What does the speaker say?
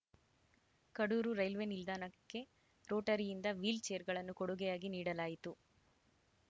Kadur railway ನಿಲ್ದಾಣಕ್ಕೆ ರೋಟರಿಯಿಂದ wheel ಚೇರ್‌ಗಳನ್ನು ಕೊಡುಗೆಯಾಗಿ ನೀಡಲಾಯಿತು